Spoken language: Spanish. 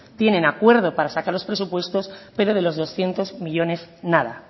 tienen acuerdo para sacar los presupuestos pero de los doscientos millónes nada